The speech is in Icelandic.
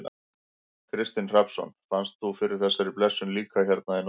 Kristinn Hrafnsson: Fannst þú fyrir þessari blessun líka hérna í nótt?